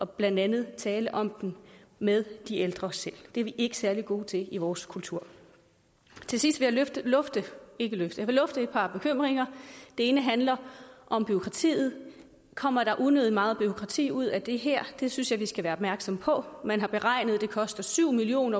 blandt andet at tale om den med de ældre selv det er vi ikke særlig gode til i vores kultur til sidst vil jeg lufte et par bekymringer den ene handler om bureaukratiet kommer der unødig meget bureaukrati ud af det her det synes jeg vi skal være opmærksomme på man har beregnet at det koster syv million